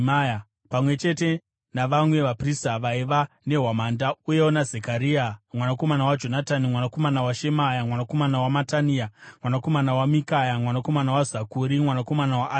pamwe chete navamwe vaprista vaiva nehwamanda, uyewo naZekaria mwanakomana waJonatani, mwanakomana waShemaya, mwanakomana waMatania, mwanakomana waMikaya, mwanakomana waZakuri, mwanakomana waAsafi,